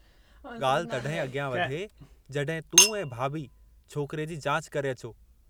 ॻाल्हि तॾहिं अॻियां वधे जंहिं तूं ऐं भाभी छोकिरे जी जाच करे अचो।